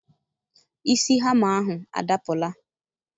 Isi hama ahụ adapụla.